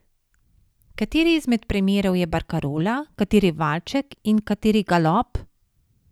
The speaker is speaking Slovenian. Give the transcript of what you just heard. Kateri izmed primerov je barkarola, kateri valček in kateri galop?